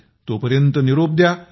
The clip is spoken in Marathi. मग तो पर्यंत निरोप द्या